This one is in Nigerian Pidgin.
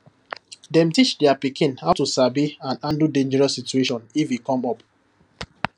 dem teach their pikin how to sabi and handle dangerous situation if e come up